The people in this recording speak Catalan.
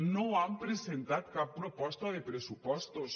no han presentat cap proposta de pressupostos